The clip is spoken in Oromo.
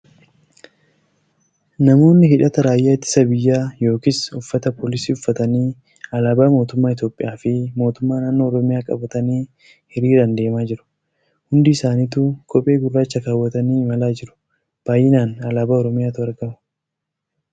Namoonni hidhata raayyaa ittisa biyyaa yookin uffata poolisii uffatanii alaabaa mootummaa Itiyoophiyaa fi mootummaaa naannoo Oromiyaa qabatanii hiriiraan deemaa jiru. Hundi isaanituu kophee gurraacha keewwatanii imalaa jiru. Baay'inaan alaabaa Oromiyaatu argama.